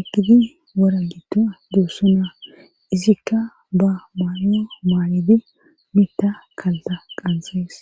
ekidi wara gitto doosso naa izikka ba baanyo maa7idi mitta kalta qanxees.